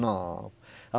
Não.